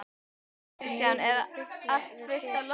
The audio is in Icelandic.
Hann lítur niður og fitlar við teskeið.